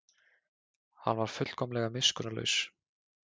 Hann var fullkomlega miskunnarlaus.